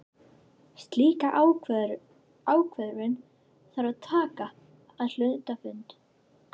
Slíka ákvörðun þarf að taka á hluthafafundi.